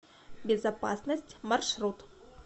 безопасность маршрут